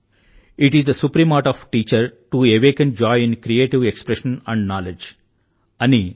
IT is the supreme art of the teacher to awaken joy in creative expression and knowledge